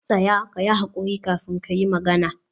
tsaya! kayi hakuri kafin kayi magana.